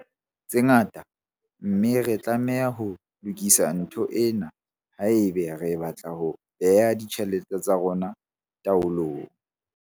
Tse ngata, mme re tlameha ho lokisa ntho ena haeba re batla ho bea ditjhelete tsa rona taolong.